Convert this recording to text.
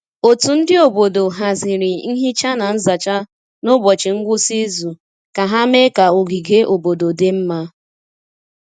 Otu ndi obodo haziri nhicha na nzacha n’ụbọchị ngwụsị izu ka ha mee ka ogige obodo dị mma.